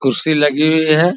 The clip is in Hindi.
कुर्सी लगी हुई हैं ।